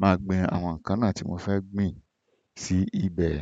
màá sì gbin àwọn nǹkan tí mo fẹ́ gbìn sí ibẹ̀.